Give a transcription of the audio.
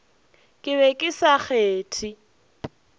ke be ke sa kgethe